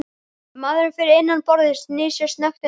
Maðurinn fyrir innan borðið snýr sér snöggt undan.